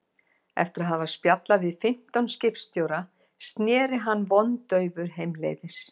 Eftir að hafa spjallað við fimmtán skipstjóra sneri hann vondaufur heimleiðis.